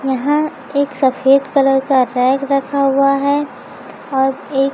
यहां एक सफेद कलर का टैग रखा हुआ है और एक--